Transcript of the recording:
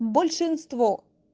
большинство